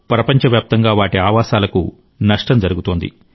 ప్రపంచవ్యాప్తంగా వాటి ఆవాసాలకు నష్టం జరుగుతోంది